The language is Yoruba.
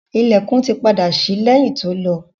Ilẹ̀kùn to tì padà ṣí lẹ́yìn to lọ.